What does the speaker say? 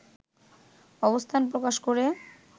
অবস্থান প্রকাশ করে